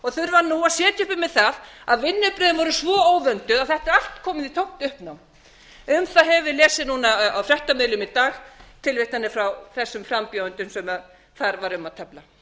þurfa ú að sitja uppi með það að vinnubrögðin voru svo óvönduð að þetta er allt komið í tómt uppnám um það höfum við lesið núna á fréttamiðlum í dag tilvitnanir frá þessum frambjóðendum sem þar var um að tefla